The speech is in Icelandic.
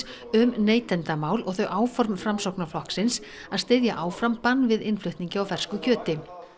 um neytendamál og þau áform Framsóknarflokksins að styðja áfram bann við innflutningi á fersku kjöti